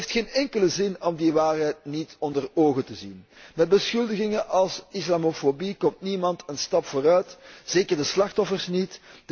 Het heeft geen enkele zin om die waarheid niet onder ogen te zien. Met beschuldigingen als islamofobie komt niemand een stap vooruit, zeker de slachtoffers niet.